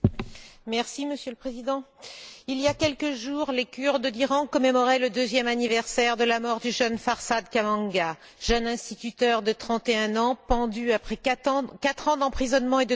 Monsieur le Président, il y a quelques jours, les Kurdes d'Iran commémoraient le deuxième anniversaire de la mort du jeune Farzad Kamanga, jeune instituteur de 31 ans, pendu après quatre ans d'emprisonnement et de tortures.